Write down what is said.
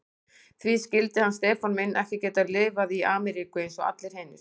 Því skyldi hann Stefán minn ekki geta lifað í Ameríku eins og allir hinir.